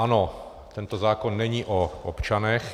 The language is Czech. Ano, tento zákon není o občanech.